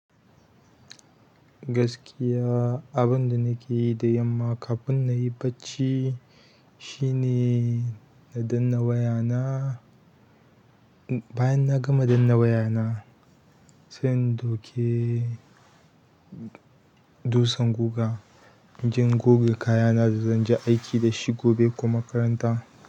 Gaskiya abunda nake yi da yamma kafin na yi bacci shine na danna waya na. Bayan na gama danna waya na, sai in ɗauke dutsan guga, inje in goge kayana da zan je aiki da shi gobe ko makaranta.